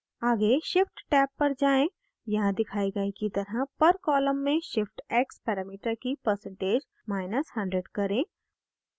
आगे shift tab पर जाएँ यहाँ दिखाए गए की तरह per column में shift x parameter की percentage100 करें